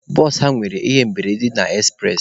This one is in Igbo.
Bụsụ ha nwere ihe mberede na ekspụres.